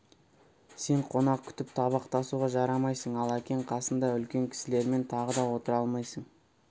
сен қонақ күтіп табақ тасуға жарамайсың ал әкең қасында үлкен кісілермен тағы да отыра алмайсың